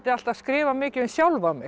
alltaf skrifa mikið um sjálfa mig